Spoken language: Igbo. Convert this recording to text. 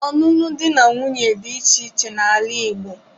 ọnụnụ di na nwunye dị iche iche n'ala Igbo.